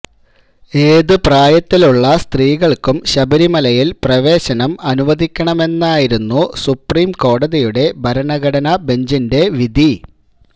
ഏതു പ്രായത്തിലുള്ള സ്ത്രീകൾക്കും ശബരിമലയിൽ പ്രവേശനം അനുവദിക്കണമെന്നായിരുന്നു സുപ്രീം കോടതിയുടെ ഭരണഘടനാ ബെഞ്ചിന്റെ വിധി